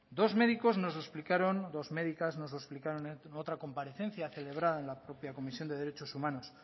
dos médicos nos lo explicaron dos médicas nos lo explicaron en otra comparecencia celebrada en la propia comisión de derechos humanos